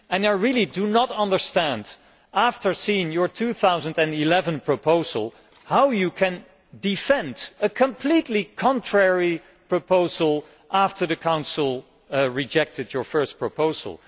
I really do not understand, after seeing your 2011 proposal, how you can defend a completely contradictory proposal after the Council rejected your first proposal.